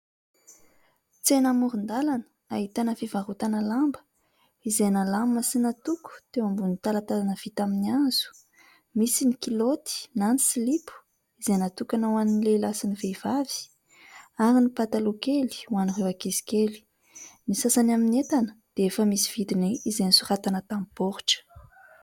Tsena amoron-dalana ahitana fivarotana lamba izay nalamina sy natoko teo ambonin'ny talantalana vita amin'ny hazo, misy ny kilaoty na ny silipo izay natokana ho an'ny lehilahy sy ny vehivavy ary ny pataloha kely ho an'ireo ankizikely, ny sasany amin'ny entana dia efa misy vidiny izay nosoratana tamin'ny boritra.